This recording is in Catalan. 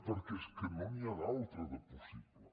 perquè és que no n’hi ha d’altra de possible